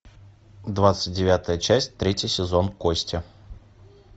двадцать девятая часть третий сезон кости